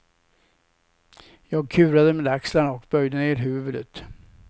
Jag kurade med axlarna och böjde ner huvudet.